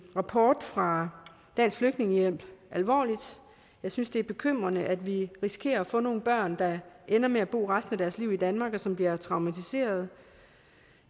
rapport fra dansk flygtningehjælp alvorligt og jeg synes det er bekymrende at vi risikerer at få nogle børn der ender med at bo resten af deres liv i danmark og som bliver traumatiserede